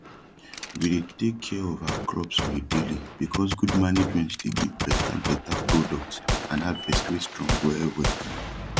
we dey tak kia of our crops on a daily becoz gud management dey give beta beta product and harvest wey strong welwel